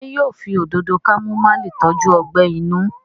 ṣe yíò fí Òdòdó kámúmáìlì tọjú ogbè inú?